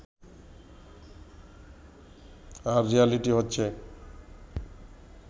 আর reality হচ্ছে